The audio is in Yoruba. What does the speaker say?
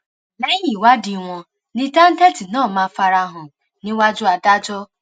lẹyìn ìwádìí wọn ni táńtẹǹtì náà máa fara hàn níwájú adájọ